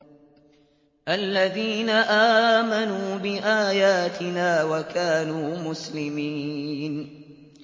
الَّذِينَ آمَنُوا بِآيَاتِنَا وَكَانُوا مُسْلِمِينَ